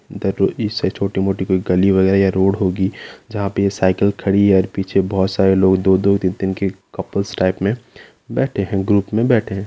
इससे छोटी-मोटी कोई गली वगैरा या रोड होगी जहां पर साइकिल खड़ी है और पीछे बहुत सारे लोग दो-दो तीन-तीन के कपल्स टाइप में बैठे हैं ग्रुप में बैठे है।